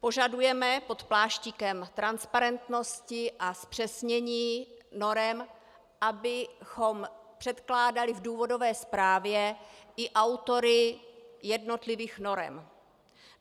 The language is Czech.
Požadujeme pod pláštíkem transparentnosti a zpřesnění norem, abychom předkládali v důvodové zprávě i autory jednotlivých norem.